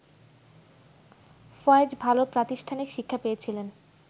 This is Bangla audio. ফয়েজ ভালো প্রাতিষ্ঠানিক শিক্ষা পেয়েছিলেন